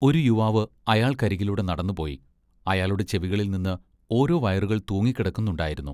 ഒരു യുവാവ് അയാൾക്കരികിലൂടെ നടന്നുപോയി. അയാളുടെ ചെവികളിൽനിന്ന് ഓരോ വയറുകൾ തൂങ്ങിക്കിടക്കുന്നുണ്ടായിരുന്നു.